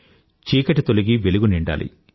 చీకటి తొలగి వెలుగు నిండాలి